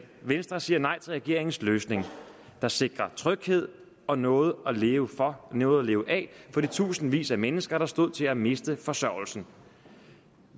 venstre siger nej til regeringens løsning der sikrer tryghed og noget at leve for og noget at leve af for de tusindvis af mennesker der stod til at miste forsørgelsen